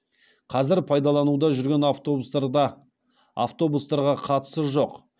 қазір пайдалануда жүрген автобустарда автобустарға қатысы жоқ